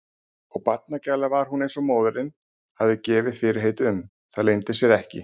Og barnagæla var hún eins og móðirin hafði gefið fyrirheit um, það leyndi sér ekki.